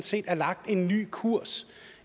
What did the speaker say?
set er lagt en ny kurs